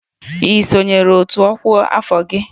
Ị sonyeere otu ọkwa afọ gị?